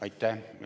Aitäh!